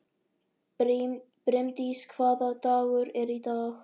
Brimdís, hvaða dagur er í dag?